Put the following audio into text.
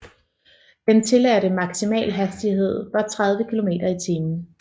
Den tilladte maksimal hastighed var 30km i timen